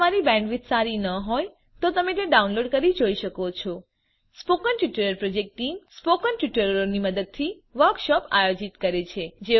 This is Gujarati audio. જો તમારી બેન્ડવિડ્થ સારી ન હોય તો તમે ડાઉનલોડ કરીને તે જોઈ શકો છો સ્પોકન ટ્યુટોરીયલો પ્રોજેક્ટ ટીમ160 સ્પોકન ટ્યુટોરીયલોની મદદથી વર્કશોપો આયોજિત કરે છે